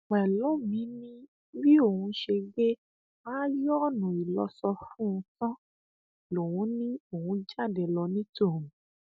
pẹlọmì ni bí òun ṣe gbé ààyòónú ìlọsọ fún un tán lòun ni òun jáde lọ ní tòun